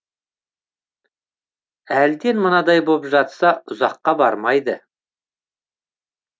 әлден мынандай боп жатса ұзаққа бармайды